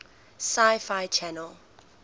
sci fi channel